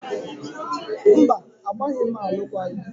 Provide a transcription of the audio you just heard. Mba, agbaghị m alụkwaghị m